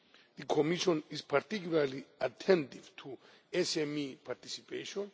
The Commission is particularly attentive to SME participation.